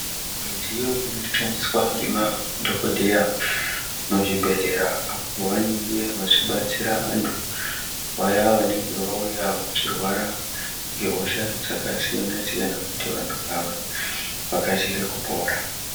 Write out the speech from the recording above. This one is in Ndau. Midziyo inoshandiswa ngemadhokodheya muzvibhedhlera apo vanenge vachibatsira antu vaya vanenge vauya vachirwara ngehosha dzakasiyana siyana kuti vantu ava vakasire kupora.